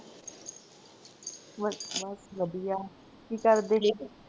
ਬਸ ਬਸ ਵਧਿਆ। ਕਿ ਕਰਦੇ ਹੀ ਠੀਕ ਆ